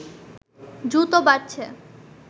দ্রুত বাড়ছে